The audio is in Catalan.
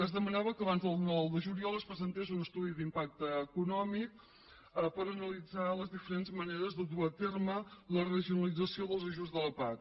es demanava que abans del nou de juliol es presentés un estudi d’impacte econòmic per analitzar les diferents maneres de dur a terme la regionalització dels ajuts de la pac